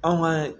Anw ka